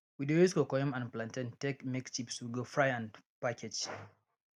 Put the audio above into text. we de use cocoyam and plantain take make chips we go fry and package